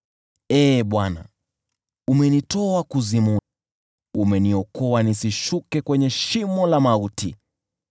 Ee Bwana , umenitoa Kuzimu, umeniokoa nisishuke kwenye shimo la mauti.